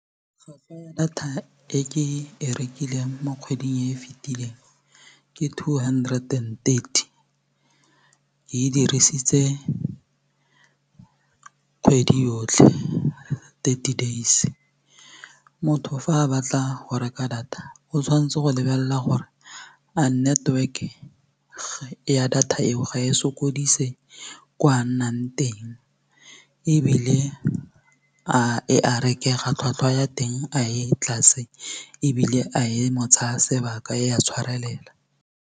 Tlhwatlhwa ya data e ke e rekileng mo kgweding e fetileng ke two hundred and thirty ke e dirisitse kgwedi yotlhe thirty days motho fa a batla go reka data o tshwanetse go lebelela gore a network ya data eo ga e sokodise kwa a nna teng ebile a e a rekega tlhwatlhwa ya teng a e tlase ebile a e mo tsaya sebaka e a tshwarelela.